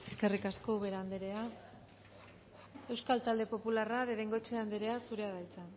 eskerrik asko ubera anderea euskal talde popularra de bengoechea anderea zurea da hitza